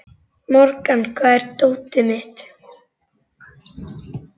Morgan, hvar er dótið mitt?